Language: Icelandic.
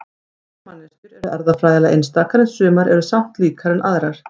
allar manneskjur eru erfðafræðilega einstakar en sumar eru samt líkari en aðrar